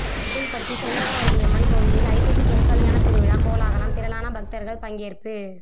கோவில்பட்டி செண்பகவல்லியம்மன் கோயிலில் ஐப்பசி திருக்கல்யாண திருவிழா கோலாகலம் திரளான பக்தர்கள் பங்கேற்பு